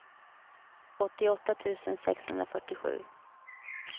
åttioåtta tusen sexhundrafyrtiosju